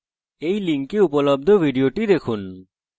এই লিঙ্কে উপলব্ধ video দেখুন